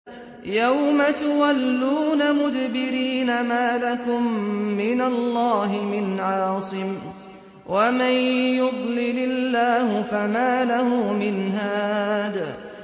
يَوْمَ تُوَلُّونَ مُدْبِرِينَ مَا لَكُم مِّنَ اللَّهِ مِنْ عَاصِمٍ ۗ وَمَن يُضْلِلِ اللَّهُ فَمَا لَهُ مِنْ هَادٍ